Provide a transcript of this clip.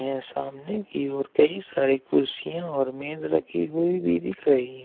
यहां सामने की ओर कई सारी कुर्सियां और मेज रखी हुई भी दिख रही है।